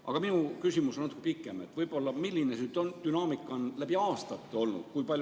Aga minu küsimus on natuke pikem: milline on dünaamika läbi aastate olnud?